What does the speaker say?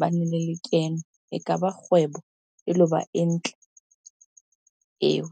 bane le lekeno, ekaba kgwebo elo ba e ntle eo.